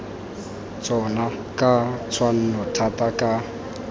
tsona ka tshwanno thata ka